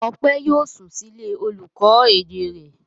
Ọpẹ́ yóò sùn sílé olùkọ́ èdè rẹ̀?